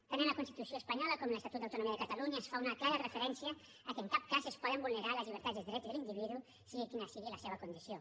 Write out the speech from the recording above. tant en la constitució espanyola com en l’estatut d’autonomia de catalunya es fa una clara referència a que en cap cas es poden vulnerar les llibertats i els drets de l’individu sigui quina sigui la seva condició